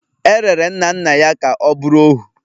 E rere nna nna ya ka ọ bụrụ ohu